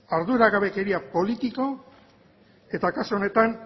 arduragabekeria politiko eta kasu honetan